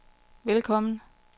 velkommen